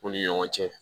U ni ɲɔgɔn cɛ